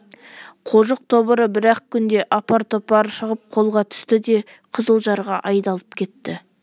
қожық тобыры бір-ақ күнде апар-топары шығып қолға түсті де қызылжарға айдалып кетті